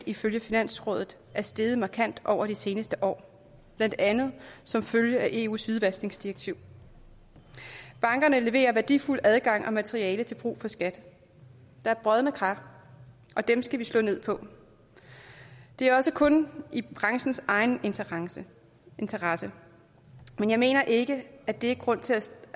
ifølge finansrådet er steget markant over de seneste år blandt andet som følge af eus hvidvaskningsdirektiv bankerne leverer værdifuld adgang og materiale til brug for skat der er brodne kar og dem skal vi slå ned på det er også kun i branchens egen interesse interesse men jeg mener ikke at det er en grund til at